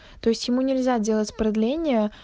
то есть ему нельзя делать продление